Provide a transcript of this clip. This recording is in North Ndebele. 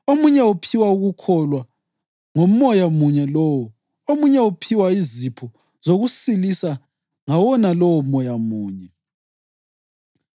omunye uphiwa ukukholwa ngoMoya munye lowo, omunye uphiwa izipho zokusilisa ngawona lowo Moya munye,